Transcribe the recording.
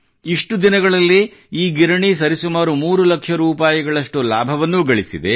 ಇಷ್ಟು ದಿನಗಳಲ್ಲೇ ಈ ಗಿರಣಿ ಸರಿಸುಮಾರು ಮೂರು ಲಕ್ಷ ರೂಪಾಯಿಗಳಷ್ಟು ಲಾಭವನ್ನೂ ಗಳಿಸಿದೆ